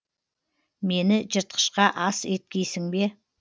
мені жыртқышқа ас еткейсің бе